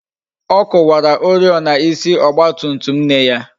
Ọ kuwara oriọna ịsị Ọgba tum tum nne ya